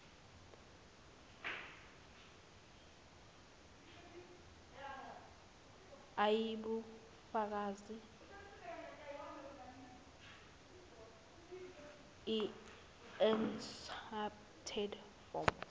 eyibufakazi encrypted form